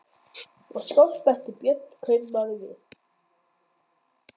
Og skáld, bætti Björn kaupmaður við.